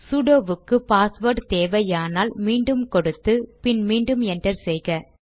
sudo வுக்கு password தேவையானால் மீண்டும் கொடுத்து பின் மீண்டும் என்டர் செய்க